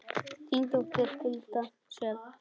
Þín dóttir, Hulda Sjöfn.